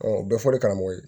o bɛɛ fɔra karamɔgɔ ye